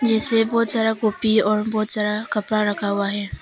जिससे बहुत सारा कॉपी और बहुत सारा कपड़ा रखा हुआ है।